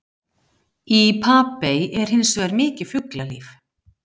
Í Papey er hins vegar mikið fuglalíf.